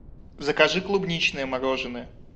закажи клубничное мороженое